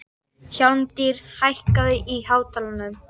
Hjálmtýr, hækkaðu í hátalaranum.